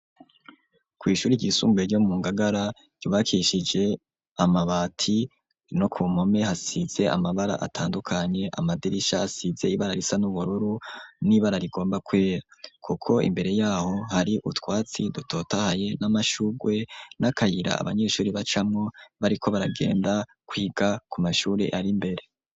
Kw'ishuri ryisumbuye ryo mu ngagara ryubakishije amabati no ku mome hasize amabara atandukanye amadirisha hasize ibararisa n'ubururu n'ibara rigomba kwera, kuko imbere yaho hari utwatsi dutotahaye n'amashugwe n'akayira abanyeshuri bacamwo bariko baragemwa nda kwiga ku mashure ari mbere.